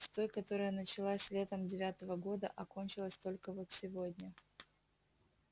с той которая началась летом девятого года а кончилась только вот сегодня